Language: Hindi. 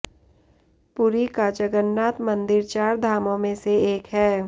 पुरी का जगन्नाथ मंदिर चार धामों में से एक है